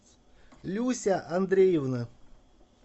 люся андреевна